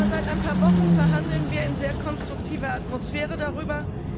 Aber seit ein paar Wochen verhandeln wir in sehr konstruktiver Atmosphäre darüber.